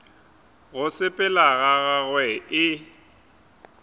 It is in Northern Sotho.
go sepela ga gagwe e